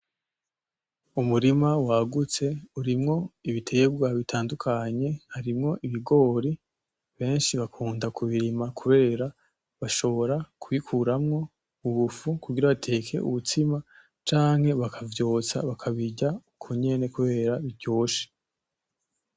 Umurima wagutse urimwo ibitegwa bitandukanye harimwo ibigori benshi bakunda kubirima kubera bashobora kubikuramwo ubufu kugira bateke ubutsima canke bakavyotsa bakabirya uko nyene kubera biryoshe.